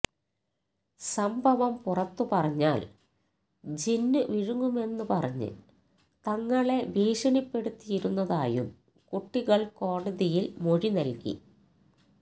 സംഭവം പുറത്തു പറഞ്ഞാല് ജിന്ന് വിഴുങ്ങുമെന്ന് പറഞ്ഞ് തങ്ങളെ ഭീഷണിപ്പെടുത്തിയിരുന്നതായും കുട്ടികള് കോടതിയില് മൊഴി നല്കി